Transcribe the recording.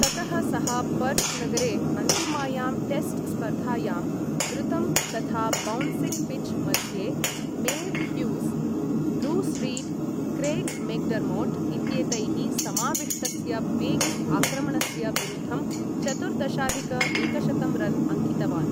ततः सः पर्त् नगरे अन्तिमायां टेस्ट् स्पर्धायां द्रुतं तथा बौन्सिङ्ग् पिच् मध्ये Merv Hughes, Bruce Reid, Craig McDermott इत्येतैः समाविष्टस्य वेगी आक्रमणस्य विरुद्धं चतुर्दशाधिक एकशतं रन् अङ्कितवान्।